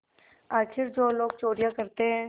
आखिर जो लोग चोरियॉँ करते हैं